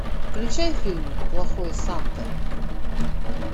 включай фильм плохой санта